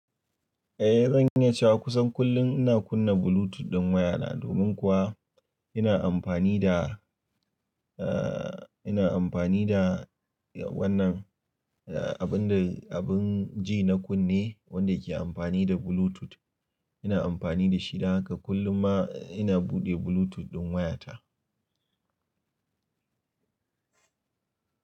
Eh zan yi cewa kusan kullum ina kunna Bluetooth ɗin wayana domin kuwa ina amfani da, eh ina amfani da wannan abin da abin ji na kunne wanda yake amfani da Bluetooth. Ina amfani da shi, haka kullum ma ina buɗe Bluetooth ɗin wayata.